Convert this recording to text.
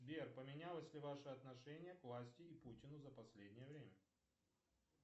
сбер поменялось ли ваше отношение к власти и путину за последнее время